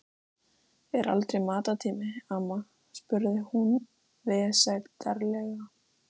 Er aldrei matartími, amma? spurði hún vesældarlega.